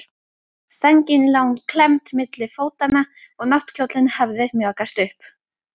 Sængin lá klemmd milli fótanna og náttkjóllinn hafði mjakast upp.